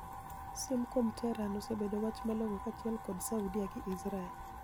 Siem kuom Tehran osebedo wach malong'okaachiel god Saudia gi Israel.